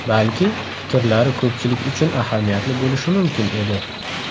Balki, fikrlari ko‘pchilik uchun ahamiyatli bo‘lishi mumkin edi.